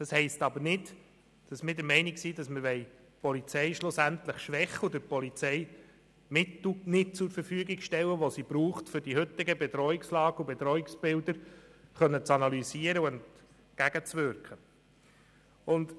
Das heisst aber nicht, dass wir die Polizei schwächen oder ihr Mittel nicht zur Verfügung stellen wollen, die sie braucht, um die heutigen Bedrohungsbilder analysieren und der Bedrohungslage entgegenwirken zu können.